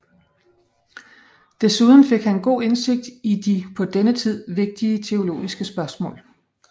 Desuden fik han god indsigt i de på denne tid vigtige teologiske spørgsmål